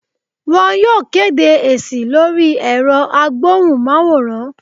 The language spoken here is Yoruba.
Wọn yóò kedé esi lori erò agbohún- maworán